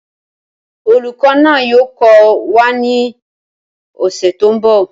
Olùkọ́ náà yóò kọ́ wa ní ọ̀sẹ̀ tó ń bọ̀